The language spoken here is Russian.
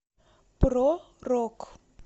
про рок